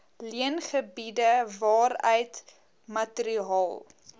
leengebiede waaruit materiaal